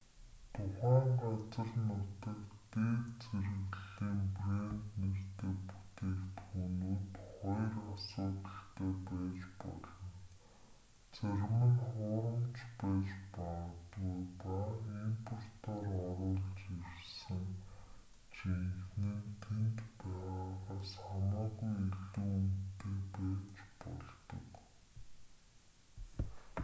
тухайн газар нутагт дээд зэрэглэлийн брэнд нэртэй бүтээгдэхүүнүүд хоёр асуудалтай байж болно зарим нь хуурамч нь байж магадгүй ба импортоор оруулж ирсэн жинхэнэ нь тэнд байгаагаас хамаагүй илүү үнэтэй байж болдог